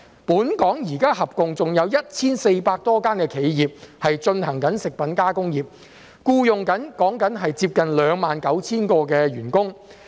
本港現時合共有 1,400 多間企業從事食品加工業，僱用接近 29,000 名員工。